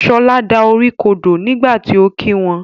Shola dá orí kodò nígbàtí ọ kí wón.